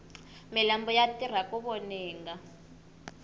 malambhu ya tirha ku voninga